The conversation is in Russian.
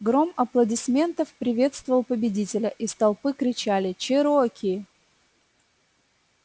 гром аплодисментов приветствовал победителя из толпы кричали чероки